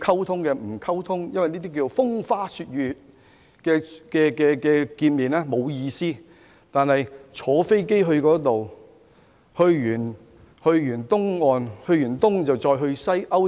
他們說風花雪月的見面沒有意思，但卻願意乘坐飛機去美國東岸、西岸以至歐洲。